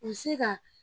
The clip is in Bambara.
U bɛ se ka